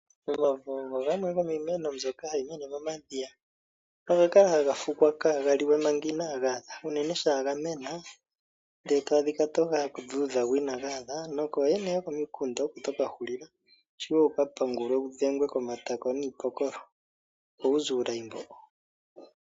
Omavo ogo gamwe gomiimeno mbyoka hayi mene momadhiya. Oga kala haga fukwa kaaga liwe manga inaaga adha unene shampa ga mena ndele e to adhika toga dhudha go inaaga adha nokooyene yokomikunda oko to ka hulila wu ka pangulwe wudhengwe komatako niipokolo opo wuze uulayi mbo.